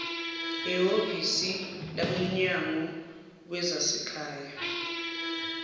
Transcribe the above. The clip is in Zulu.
ehhovisi labomnyango wezasekhaya